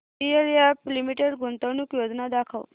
DLF limited गुंतवणूक योजना दाखव